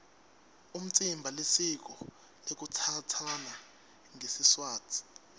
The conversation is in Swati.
umtsimba lisiko lekutsatsana ngesiswati